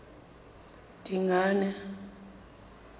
dingane